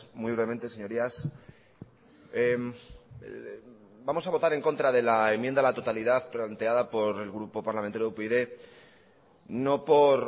muy brevemente señorías vamos a votar en contra de la enmienda a la totalidad planteada por el grupo parlamentario